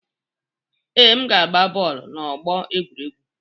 Ee, m ga-agba bọọlụ n'ọgbọ egwuregwu